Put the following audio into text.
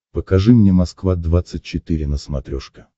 покажи мне москва двадцать четыре на смотрешке